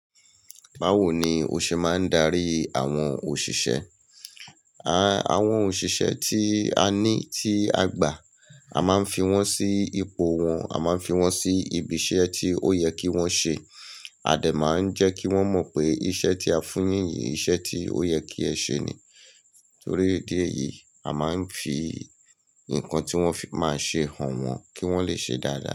Báwo ni o ṣe máa ń darí àwọn òṣìṣẹ́? Àwọn òṣìṣẹ́ tí a ní tí a gbà, a máa ń fi wọ́n sí ipò wọn, a máa ń fi wọ́n sí ibi iṣẹ́ tí ó yẹ kí wọ́n ṣe. A dẹ̀ máa ń jẹ́ kí wọ́n mọ̀ pé iṣẹ́ tí a fún yín yìí iṣẹ́ tí ó yẹ kí ẹ ṣe ni. Torí idi eyìí, a máa ń fi nǹkan tí wọ́n fi máa ṣe hàn wọ́n kí wọ́n lè ṣe dáadáa.